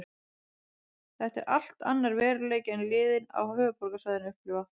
Þetta er allt annar veruleiki en liðin á höfuðborgarsvæðinu upplifa.